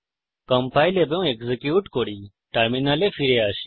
compile এবং execute করি টার্মিনালে ফিরে আসি